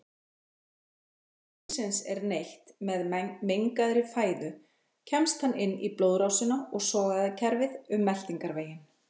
Þegar sýkilsins er neytt með mengaðri fæðu kemst hann í blóðrásina og sogæðakerfið um meltingarveginn.